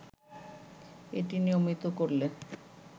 এটি নিয়মিত করলে